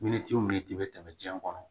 Miniti o minti bɛ tɛmɛ diɲɛ kɔnɔ